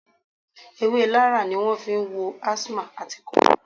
Ewé Larra ni wọn fi ń wo asthma àti ikọ́